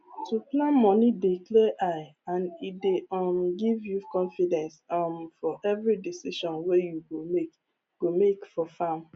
to plan moni dey clear eye and e dey um give you confidence um for every decision wey you go make go make for farm